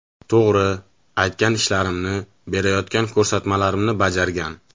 To‘g‘ri, aytgan ishlarimni, berayotgan ko‘rsatmalarimni bajargan.